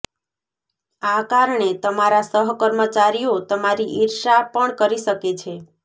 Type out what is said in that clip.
આ કારણે તમારા સહકર્મચારીઓ તમારી ઈર્ષ્યા પણ કરી શકે છે